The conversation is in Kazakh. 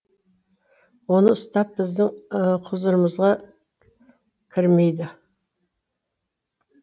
оны ұстап біздің құзырымызға кірмейді